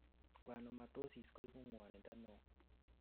schwannomatosis koibu ngwonindo neo